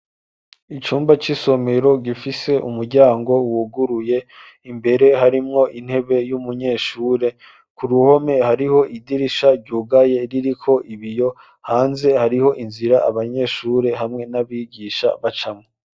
Icumba c'isomero gifise umuryango wuguruye imbere harimwo intebe y'umunyeshure ku ruhome hariho idirisha ryugaye ririko ibiyo hanze hariho inzira abanyeshure hamwe n'abigisha bacamwo.